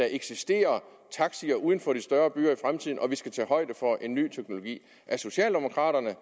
eksistere taxaer uden for de større byer i fremtiden og vi skal tage højde for en ny teknologi er socialdemokraterne